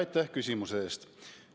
Aitäh küsimuse eest!